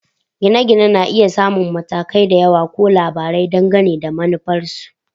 Gine-gine na iya samun matakai da yawa ko labarai, dangane da manufarsu